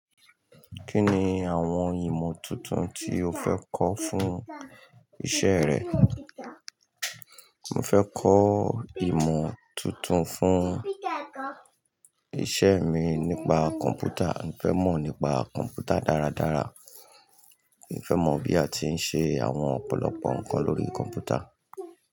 Kí ni àwọn ìmọ̀ tuntun tí o fẹ́ kọ́ fún isẹ́ rẹ? Mo fẹ́ kọ́ ìmọ̀ tuntun fún ìṣe mi nípa kọ̀m̀pútà. Mo fẹ́ mọ̀ nípa kọ̀m̀pútà dáradára. Mo fẹ́ mọ bí a ti ń ṣe àwọn ọ̀pọ̀lọpọ̀ nǹkan lórí kọ̀m̀pútà.